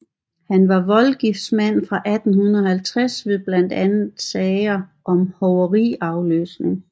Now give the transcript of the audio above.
Han var voldgiftsmand fra 1850 ved blandt andet sager om hoveriafløsning